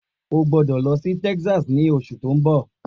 O gbọ́dọ̀ lọ sí Texas ní oṣù tó ń bọ̀